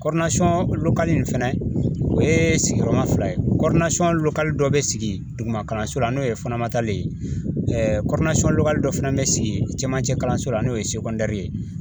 in fɛnɛ o ye sigiyɔrɔma fila ye dɔ bɛ sigi duguma kalanso la n'o ye ye dɔ fana bɛ sigi cɛmancɛ kalanso la n'o ye ye